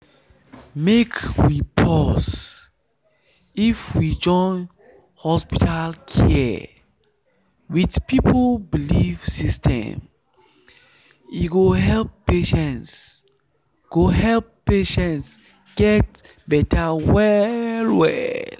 make we pause if we join hospital care with people belief system e go help patients go help patients get better well well.